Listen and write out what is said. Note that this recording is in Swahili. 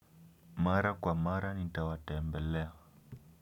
Mara kwa mara nitawatembelea.